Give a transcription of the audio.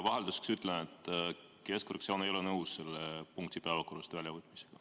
Vahelduseks ütlen, et keskfraktsioon ei ole nõus selle punkti päevakorrast välja võtmisega.